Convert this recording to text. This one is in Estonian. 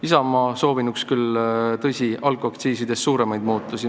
Isamaa soovinuks küll alkoholiaktsiisides suuremaid muudatusi.